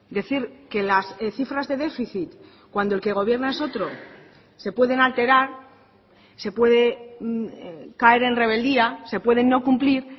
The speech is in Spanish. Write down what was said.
decir que las cifras de déficit cuando el que gobierna es otro se pueden alterar se puede caer en rebeldía se pueden no cumplir